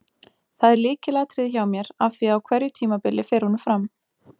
Það er lykilatriði hjá mér af því að á hverju tímabili fer honum fram.